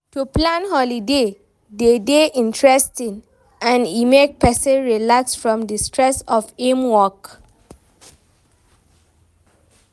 To plan holiday de dey interesting and e make persin relax from di stress of im work